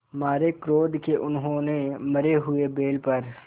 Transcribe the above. मारे क्रोध के उन्होंने मरे हुए बैल पर